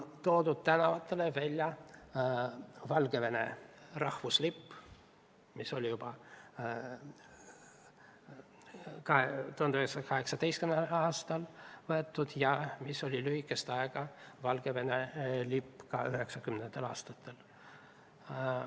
Tänavatele on toodud välja Valgevene rahvuslipp, mis lehvis juba 1918. aastal ja oli lühikest aega Valgevene lipp ka 1990. aastatel.